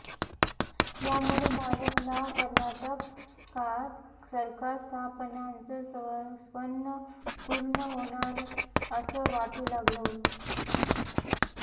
यामुळे भाजपला कर्नाटकात सरकार स्थापण्याचं स्वप्न पूर्ण होणार असं वाटू लागलं होतं